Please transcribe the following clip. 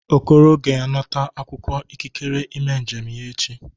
Okoro ga-anata akwụkwọ ikikere ime njem ya echi.